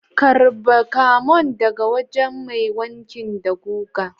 Karba camon dagawajen Mai wanki da guga.